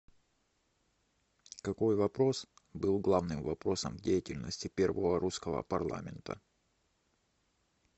какой вопрос был главным вопросом в деятельности первого русского парламента